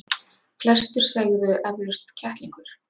Flestir segðu eflaust kettlingur.